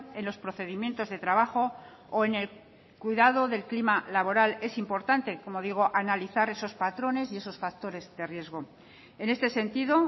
en los procedimientos de trabajo o en el cuidado del clima laboral es importante como digo analizar esos patrones y esos factores de riesgo en este sentido